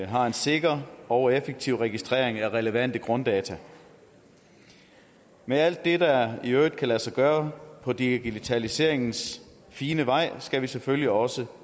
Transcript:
har en sikker og effektiv registrering af relevante grunddata med alt det der i øvrigt kan lade sig gøre på digitaliseringens fine vej skal vi selvfølgelig også